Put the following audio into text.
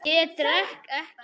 Ég drekk ekki.